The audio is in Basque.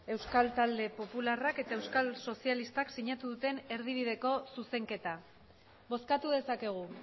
euskal talde popularrak eta euskal sozialistak sinatu duten erdibideko zuzenketa bozkatu dezakegu